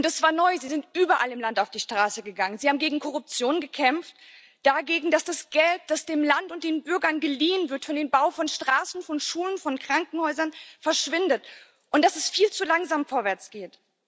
Und das war neu Sie sind überall im Land auf die Straße gegangen, sie haben gegen Korruption gekämpft, dagegen, dass das Geld, das dem Land und den Bürgern geliehen wird für den Bau von Straßen, von Schulen, von Krankenhäusern, verschwindet und dass es viel zu langsam vorwärtsgeht.